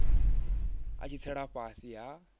a tshi tsela fhasi ha